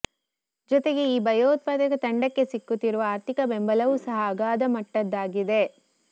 ಜೊತೆಗೆ ಈ ಭಯೋತ್ಪಾದಕ ತಂಡಕ್ಕೆ ಸಿಕ್ಕುತ್ತಿರುವ ಆರ್ಥಿಕ ಬೆಂಬಲವೂ ಸಹ ಅಗಾಧ ಮಟ್ಟದ್ದಾಗಿದೆ